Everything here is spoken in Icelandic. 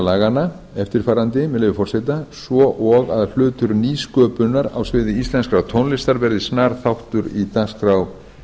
laganna svo og að hlutur nýsköpunar á sviði íslenskrar tónlistar verði snar þáttur í dagskrá